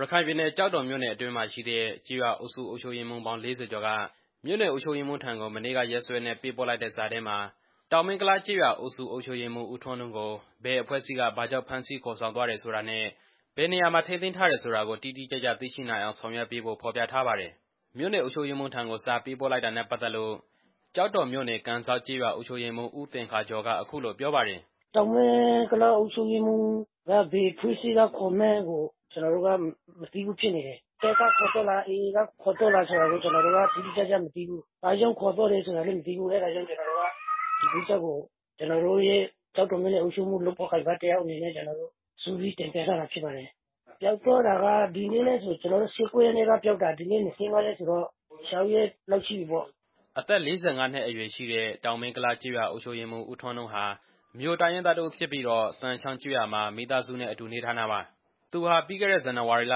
ရခိုင်ပြည်နယ် ကျောက်တော်မြို့နယ်အတွင်းမှာရှိတဲ့ ကျေးရွာအုပ်စုအုပ်ချုပ်ရေးမှူးပေါင်း ၄၀ ကျော်က မြို့နယ် အုပ်ချုပ်ရေးမှူးထံကို မနေ့ကရက်စွဲနဲ့ပေးပို့လိုက်တဲ့စာထဲမှာ တောင်မင်းကုလားကျေးရွာအုပ်စု အုပ်ချုပ်ရေးမှူး ဦးထွန်းနုကို ဘယ်အဖွဲ့အစည်းက ဘာကြောင့်ဖမ်းဆီးခေါ်ဆောင်သွားတယ်ဆိုတာနဲ့ ဘယ်နေရာမှာ ထိန်းသိမ်းထားတယ်ဆိုတာကို တိတိကျကျသိရှိနိုင်အောင် ဆောင်ရွက်ပေးဖို့ ဖော်ပြထားပါတယ်။ မြို့နယ်အုပ်ချုပ်ရေးမှူးထံကို စာပေးပို့လိုက်တာနဲ့ပတ်သက်လို့ ကျောက်တော်မြို့နယ် ကန်စောက်ကျေးရွာ အုပ်ချုပ်ရေးမှူး ဦးသင်္ခါကျော်က အခုလို ပြောပါတယ်။ "တောင်မင်းကုလားအုပ်ချုပ်ရေးမှူးကို ဘယ်အဖွဲ့ကခေါ်မှန်းကို ကျနော်တို့က မသိဘူးဖြစ်နေတယ်။ တပ်ကခေါ်သွားသလား၊ AA ကခေါ်သွားသလား ကျနော်တို့က တိတိကျကျမသိဘူး။ ဘာကြောင့်ခေါ်သွားလဲဆိုတာကိုလည်း ကျနော်တို့က မသိဘူး။ အဲဒါကြောင့် ဒီကိစ္စကို ကျနော်တို့ရဲ့ လုပ်ဖော်ကိုင်ဖက် ကျောက်တော်မြို့နယ် အုပ်ချုပ်ရေးမှူးထံကို စုပြီးတင်ပြကြတာဖြစ်ပါတယ်။ ပျောက်သွားတာက ဇန်နဝါရီလ ၁၉ ရက်၊ ဒီနေ့ ၂၅ ဆိုတော့ ၆ ရက်လောက်ရှိသွားပြီ" အသက် ၄၅ နှစ် အရွယ်ရှိတဲ့ တောင်မင်းကုလားကျေးရွာအုပ်စု အုပ်ချုပ်ရေးမှူး ဦးထွန်းနုဟာ မြိုတိုင်းရင်းသား တစ်ဦးဖြစ်ပြီး သံချောင်းကျေးရွာမှာ မိသားစုနဲ့အတူ နေထိုင်တာပါ။ သူဟာ ပြီးခဲ့တဲ့ ဇန်နဝါရီလ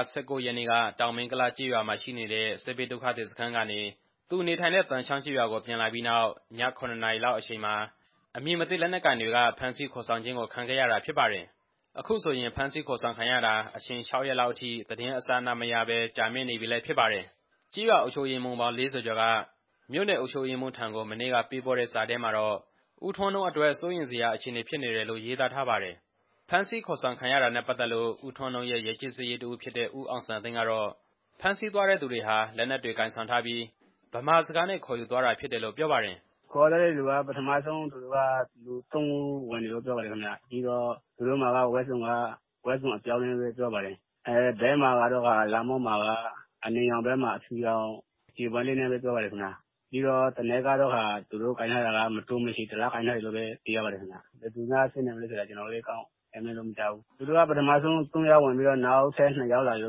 ၁၉ ရက်နေ့က တောင်မင်းကုလားကျေးရွာမှာရှိနေတဲ့ စစ်ဘေးဒုက္ခသည်စခန်းကနေ သူနေထိုင်တဲ့ သံချောင်းကျေးရွာကို ပြန်လာပြီးနောက် ည ၇ နာရီခန့်အချိန်မှာ အမည်မသိ လက်နက်ကိုင်တွေက ဖမ်းဆီးခေါ်ဆောင်ခြင်းကို ခံခဲ့ရတာဖြစ်ပါတယ်။ အခုဆိုရင် ဖမ်းဆီးခေါ်ဆောင်ခံရတာ အချိန် ၆ ရက်လောက်အထိ ဘာသတင်းအစအနမှမရဘဲ အချိန်ကြာမြင့်နေပြီလည်း ဖြစ်ပါတယ်။ ကျေးရွာအုပ်ချုပ်ရေးမှူးပေါင်း ၄၀ ကျော်က မြို့နယ်အုပ်ချုပ်ရေးမှူးထံကို မနေ့က ပေးပို့တဲ့စာထဲမှာတော့ ဦးထွန်းနုအတွက် စိုးရိမ်စရာအခြေအနေဖြစ်နေတယ်လို့ ရေးသားထားပါတယ်။ ဖမ်းဆီးခေါ်ဆောင်ခံရတာနဲ့ ပတ်သက်လို့ ဦးထွန်းနုရဲ့ ရပ်ကျေးစာရေးတစ်ဦးဖြစ်တဲ့ ဦးအောင်စံသိန်းကတော့ ဖမ်းဆီးသွားတဲ့သူတွေဟာ သေနတ်တွေကိုင်ဆောင်ပြီး ဗမာစကားနဲ့ ခေါ်ယူသွားတာဖြစ်တယ်လို့ ပြောပါတယ်။ "ခေါ်ဆောင်သွားတဲ့လူတွေက ပထမဆုံးအိမ်ထဲကို လူသုံးဦး ဝင်ပါတယ်။ သူတို့ဝတ်ထားတဲ့ဝတ်စုံက အပြောက်အကျားတွေနဲ့ပါ။ အကျီၤလက်မောင်းမှာလည်း အနီရောင်မှာ အဖြူရောင် ကြယ်ပွင့်နဲ့ဖြစ်ပါတယ်။ သူတို့မှာ မတိုမရှည် သေနတ်တစ်လက်လည်း ကိုင်ထားပါတယ်။ ဘယ်သူတွေဖြစ်မလဲဆိုတာကို ကျနော်လည်း မခန့်မှန်းတတ်ပါဘူး။ သူတို့မှာ ပထမဆုံး သုံးဦးဝင်လာပြီးတော့ နောက်ထပ် နှစ်ဦး ဝင်လာပါတ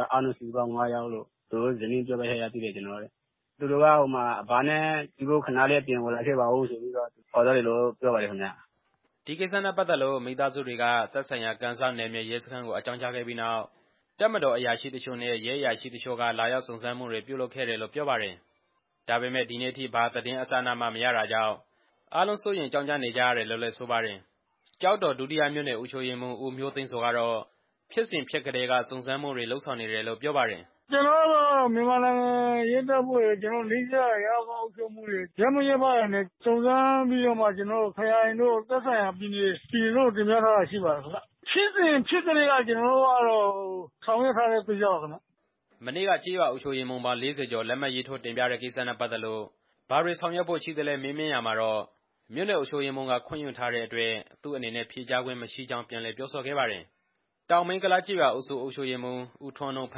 ယ်။ အားလုံးစုစုပေါင်း ငါးဦးလို့ သူ့ရဲ့ဇနီးပြောပြချက်အရ သိရပါတယ်။ သူတို့က အဘနဲ့တွေ့ဖို့ အပြင်ကိုခဏလိုက်ခဲ့ပါဦးဆိုပြီးတော့ ခေါ်သွားတာပါ" ဒီကိစ္စနဲ့ပတ်သက်လို့ မိသားစုတွေက သက်ဆိုင်ရာ ကန်စောက်နယ်မြေရဲစခန်းကို အကြောင်းကြားခဲ့ပြီးနောက် တပ်မတော် အရာရှိတစ်ချို့နဲ့ ရဲအရာရှိတစ်ချို့က လာရောက်စုံစမ်းမှုတွေ ပြုလုပ်ခဲ့တယ်လို့ ပြောပါတယ်။ ဒါပေမဲ့ ဒီနေ့အထိ ဘာသတင်းအစအနမှ မရတာကြောင့် အားလုံးစိုးရိမ်ကြောင့်ကြ နေကြရတယ်လို့လည်း ဆိုပါတယ်။ ကျောက်တော် ဒုတိယမြို့နယ် အုပ်ချုပ်ရေးမှူး ဦးမျိုးသိန်းဇော်ကတော့ ဖြစ်စဉ်ဖြစ်ကတည်းက စုံစမ်းမှုတွေ လုပ်ဆောင်နေတယ်လို့ ပြောပါတယ်။ "ကျနော်တို့ဘက်က မြန်မာနိုင်ငံရဲတပ်ဖွဲ့ရယ်၊ နီးစပ်ရာ ကျေးရွာအုပ်ချုပ်ရေးမှူးတွေရယ်၊ ရပ်မိရပ်ဖတွေနဲ့ စုံစမ်းပြီးတော့မှ ခရိုင်တို့၊ ပြည်နယ်တို့ကို တင်ပြထားတာရှိပါတယ်။ ဖြစ်စဉ်ဖြစ်ကတည်းက ကျနော်တို့ ဆောင်ရွက်နေတာပါခင်ဗျ" မနေ့က ကျေးရွာအုပ်ချုပ်ရေးမှူးပေါင်း ၄၀ ကျော် လက်မှတ်ရေးထိုး တင်ပြတဲ့ကိစ္စနဲ့ပတ်သက်လို့ ဘာတွေဆောင်ရွက်ဖို့ရှိသလဲ မေးမြန်းရာမှာတော့ မြို့နယ်အုပ်ချုပ်ရေးမှူး ခွင့်ယူထားတဲ့အတွက် သူ့အနေနဲ့ဖြေကြားခွင့် မရှိကြောင်း ပြန်လည်ပြောဆိုခဲ့ပါတယ်။ တောင်မင်းကုလားကျေးရွာအုပ်စု အုပ်ချုပ်ရေးမှူး ဦးထွန်းနု ဖ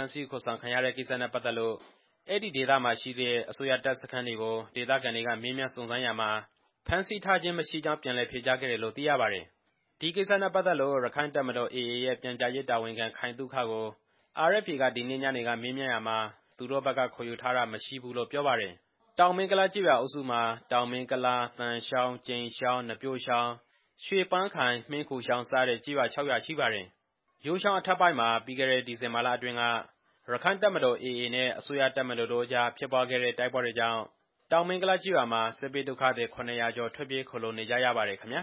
မ်းဆီးခေါ်ဆောင်ခံရတဲ့ ကိစ္စနဲ့ပတ်သက်လို့ အဲဒီဒေသမှာရှိတဲ့ အစိုးရတပ်စခန်းတွေကို ဒေသခံတွေက မေးမြန်းစုံစမ်းရာမှာ ဖမ်းဆီးထားခြင်းမရှိကြောင်း ဖြေကြားခဲ့တယ်လို့ သိရပါတယ်။ ဒီကိစ္စနဲ့ပတ်သက်လို့ ရက္ခိုင့်တပ်မတော်(AA)ရဲ့ ပြန်ကြားရေးတာဝန်ခံ ခိုင်သုခကို RFA က ဒီနေ့ညနေက မေးမြန်းရာမှာလည်း သူတို့ဘက်က ခေါ်ယူထားတာ မရှိဘူးလို့ ပြောပါတယ်။ တောင်မင်းကုလားကျေးရွာအုပ်စုမှာ တောင်မင်းကုလား၊ သံချောင်း၊ ကြိမ်ချောင်း၊ နပျိုးချောင်း၊ ရွှေပန်းခိုင်၊ မှင်းခူချောင်းစတဲ့ကျေးရွာ ၆ ရွာရှိပါတယ်။ ယိုးချောင်းအထက်ပိုင်းမှာ ပြီးခဲ့တဲ့ ဒီဇင်ဘာလအတွင်းက ရက္ခိုင့်တပ်မတော်(AA)နဲ့ အစိုးရတပ်မတော်တို့ ဖြစ်ပွားခဲ့တဲ့တိုက်ပွဲတွေကြောင့် တောင်မင်းကုလားကျေးရွာမှာ စစ်ဘေးဒုက္ခသည် ၇၀၀ ကျော် ထွက်ပြေးခိုလှုံနေကြရပါတယ်ခင်ဗျာ